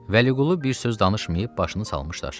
Vəliqulu bir söz danışmayıb başını salmışdı aşağı.